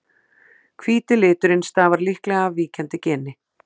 hvíti liturinn stafar líklega af víkjandi geni